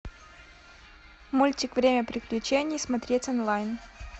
мультик время приключений смотреть онлайн